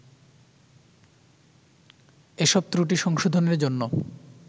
এসব ত্রুটি সংশোধনের জন্যে